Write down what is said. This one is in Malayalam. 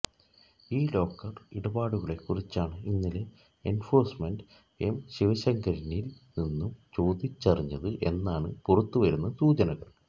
ഈ ലോക്കർ ഇടപാടുകളെ കുറിച്ചാണ് ഇന്നലെ എൻഫോഴ്മെന്റ് എം ശിവശങ്കരനിൽ നിന്നും ചോദിച്ചറിഞ്ഞത് എന്നാണ് പുറത്തുവരുന്ന സൂചനകൾ